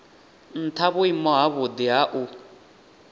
ntha vhuimo havhudi ha u